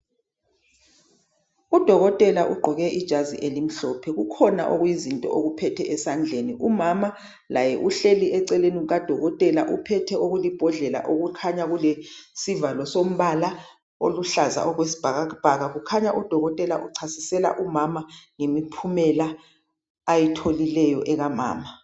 Udokotela ugqoke ijazi elimhlophe. Kukhona okuyizinto okuphethe esandleni. Umama laye uhleli eceleni kukadokotela, uphethe okulibhodlela okukhanya kulesivalo sombala oluhlaza okwesibhakabhaka. Kukhanya udokotela uchasisela umama ngemiphumela ayitholileyo ekamama.